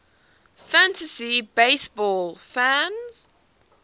fantasy baseball fans